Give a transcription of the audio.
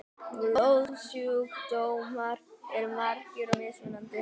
Blóðsjúkdómar eru margir og mismunandi.